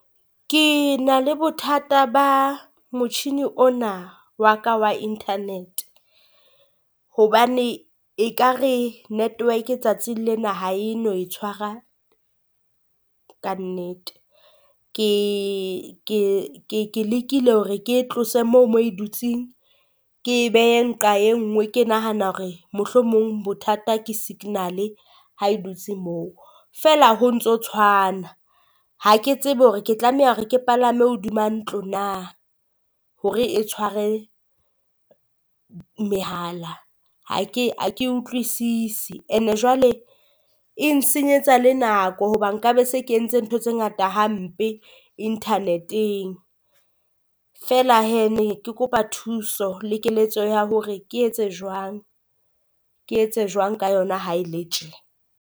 Ke na le bothata ba motjhini ona wa ka wa Internet, hobane ekare network tsatsing lena ha e no e tshwara kannete. Ke ke ke ke lekile hore ke e tlose moo moo e dutseng, ke e behe nqa e nngwe ke nahana hore mohlomong bothata ke signal ha e dutse moo. Feela ho ntso tshwana ha ke tsebe hore ke tlameha hore ke palame hodima ntlo na hore e tshware mehala ha ke ha ke utlwisise, and-e jwale e nsenyetsa le nako hoba nka be se ke entse ntho tse ngata hampe Internet-eng. Feela hee ne ke kopa thuso le keletso ya hore ke etse jwang, ke etse jwang ka yona ha e le tje?